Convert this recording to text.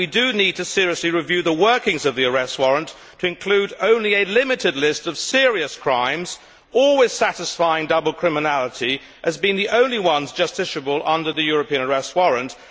We need to seriously review the workings of the arrest warrant to include only a limited list of serious crimes always satisfying the condition of double criminality as being the only ones justiciable under the European Arrest Warrant.